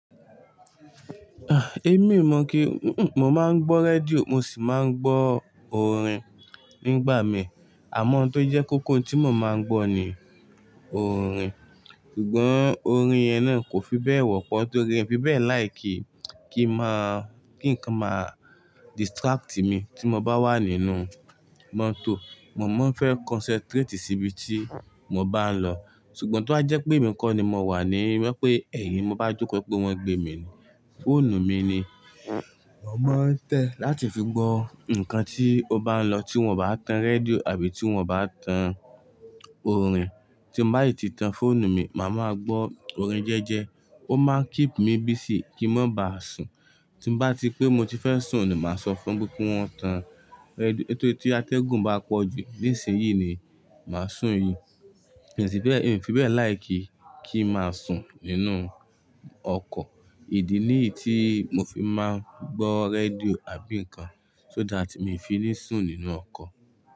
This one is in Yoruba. Ah! Èmi o mọ̀ kí n mm, mo máa ń gbọ́ rédíò mo sì máa ń gbọ́ orin nígbà mi. Àmọ́ ntó jẹ́ kóko ntí mo máa ń gbọ́ ni oorin. Ṣùgbọ́n orin yẹn náà kò fi bẹ́ẹ̀ wọ́pọ̀ torí in fi bẹ́ẹ̀ láìkí, kí n máa, kí nǹkan máa distract mi tí mo bá wà nínú mọ́tò. Mo máa ń fẹ́ concentrate síbi tí mo bá ń lọ. Ṣùgbọ́n tó ba jẹ́ pé emi ko ni mo wà ní, mo pé ẹ̀yin mo bá jókòó pé wọ́n gbé mi ni. Fóònù mi ni mo máa ń tẹ̀ láti fi gbọ́ nǹkan tí ó bá ń lọ tí wọ́n o bá tan rédíò àbí tí wọ́n o bá tan oorin. Tí n bá si ti tan fóònù mi, màá máa gbọ́ oorin jẹ́ẹ́jẹ́. Ó máa n keep mi busy kí n má ba sùn. Tí n bá ti pé mo ti fẹ́ sùn ni màá sọ fún pé kí wọ́n tan rédíò. Nitóri tí atẹ́gùn bá pọ̀ jù ní ìsinsìn yií ni màá sùn yi. Síbẹ́ẹ̀, in fi bẹ́ẹ̀ láìkí, kí n máa sùn nínú ọkọ̀. Ìdí nìyí tí mo fi máa ń gbọ́ rédíò àbí nǹkan so that mi ò fi ní sùn nínú ọkọ̀